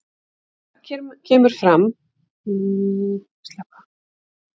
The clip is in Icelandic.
Þar kemur fram að ítalska fánanum hafi verið haldið á lofti í stúkunni.